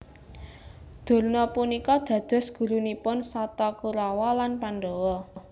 Durna punika dados gurunipun Sata Kurawa lan Pandhawa